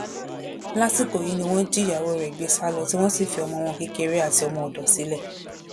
lásìkò náà ni wọn jí ìyàwó rẹ gbé sá lọ tí wọn sì fi ọmọ wọn kékeré àti ọmọọdọ sílẹ